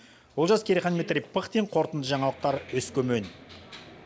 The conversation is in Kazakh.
олжас керейхан дмитрий пыхтин қорытынды жаңалықтар өскемен